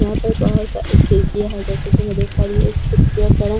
यहाँ पर बहुत सारी खिड़कियां है जैसे की मैं देख पा रही हूँ इस खिड़कियों का ना --